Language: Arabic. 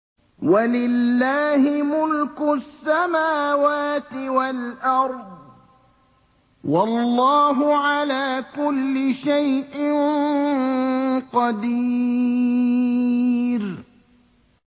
وَلِلَّهِ مُلْكُ السَّمَاوَاتِ وَالْأَرْضِ ۗ وَاللَّهُ عَلَىٰ كُلِّ شَيْءٍ قَدِيرٌ